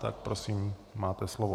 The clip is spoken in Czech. Tak prosím, máte slovo.